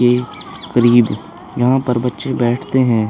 ये करीब यहाँ पर बच्चे बैठते हैं।